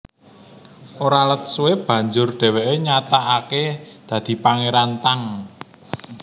Ora let suwé banjur dhèwèké nyatakaké dadi Pangéran Tang